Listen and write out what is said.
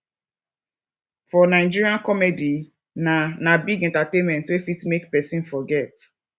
for nigeria comedy na na big entertainment wey fit make person forget